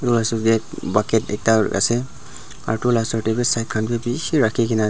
bucket ekta ase aro edu la osor tae khan bi bishi rakhinaase.